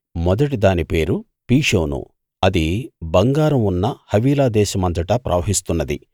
మొదటిదాని పేరు పీషోను అది బంగారం ఉన్న హవీలా దేశమంతటా ప్రవహిస్తున్నది